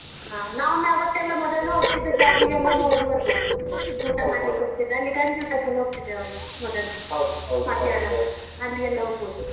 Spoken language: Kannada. ಹ ನಾವೊಮ್ಮೆ ಆವತ್ತೆಲ್ಲ ಮೊದಲು ಹೋಗ್ತಿದ್ದ ಜಾಗಿಗೆಲ್ಲ ಒಮ್ಮೆ ಹೋಗಿ ಬರ್ಬೋದು ಊಟ ಮಾಡ್ಲಿಕ್ಕೆ ಹೋಗ್ತಿದ್ದೆ ಅಲ್ಲಿ ಗಂಜಿ ಊಟಕ್ಕೆಲ್ಲ ಹೋಗ್ತಿದ್ದೆವಲ್ಲ hotel ಮಧ್ಯಾಹ್ನ ಅಲ್ಲಿ ಎಲ್ಲ ಹೋಗ್ಬೋದು.